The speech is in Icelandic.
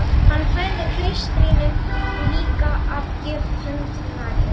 Hann færði klaustrinu líka að gjöf hönd Maríu